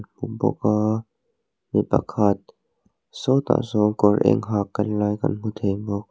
mi pakhat sawtah sawn kawr eng ha kal lai kan hmu thei bawk.